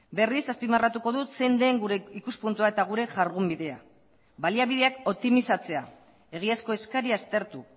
berriz azpimarratuko dut zein den gure ikuspuntua eta gure jardunbidea baliabideak optimizatzea egiazko eskaria aztertu